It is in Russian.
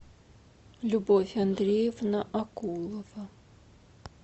любовь андреевна акулова